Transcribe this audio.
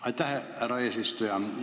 Aitäh, härra eesistuja!